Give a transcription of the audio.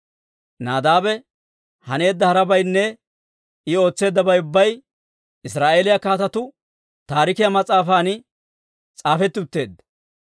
Nadaabe haneedda harabaynne I ootseeddabay ubbay Israa'eeliyaa Kaatetuu Taarikiyaa mas'aafan s'aafetti utteedda.